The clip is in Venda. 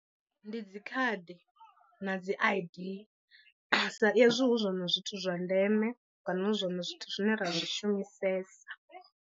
Ndi dzi khadi na dzi I_D sa ezwi hu zwone zwithu zwa ndeme kana hu zwone zwithu zwine ra zwi shumisesa.